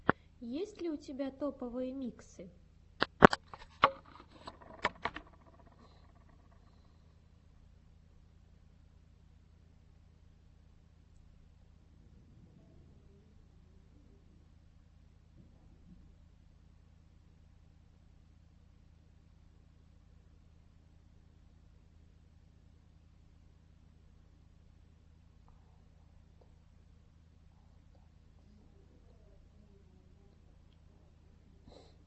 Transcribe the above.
есть ли у тебя топовые миксы